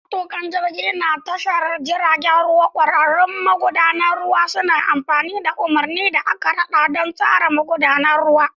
Matukin jirgi na tashar jiragen ruwa, ƙwararrun magudanan ruwa, suna amfani da umarni da aka rada don ratsa magudanan ruwa.